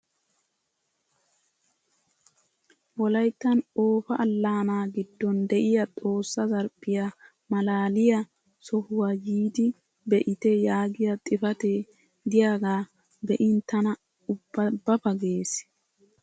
Wolayttan Oofa allaanaa giddon de'iya Xoossa zarphphiya maalaaliya sohuwa yiidi be'ite yaagiya xifatee diyagaa be'in tana ubba ba ba ges!